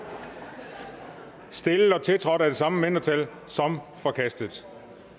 stillet og tiltrådt af de samme mindretal som forkastet